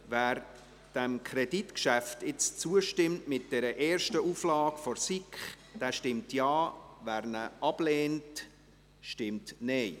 Wer diesem Kreditgeschäft nun zustimmt, mit dieser ersten Auflage der SiK, stimmt Ja, wer dies ablehnt, stimmt Nein.